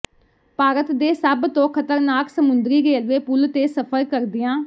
ਭਾਰਤ ਦੇ ਸਭ ਤੋਂ ਖਤਰਨਾਕ ਸਮੁੰਦਰੀ ਰੇਲਵੇ ਪੁਲ ਤੇ ਸਫ਼ਰ ਕਰਦਿਆਂ